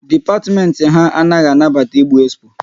Dipatimenti ha anaghị anabata ịgbu expo